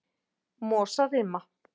Mosarima